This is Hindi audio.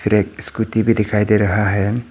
फिर एक स्कूटी भी दिखाई दे रहा है।